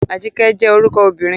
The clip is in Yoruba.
Ajike jẹ́ orúkọ ọmọbìnrin.